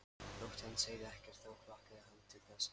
Þótt hann segði ekkert þá hlakkaði hann til þess.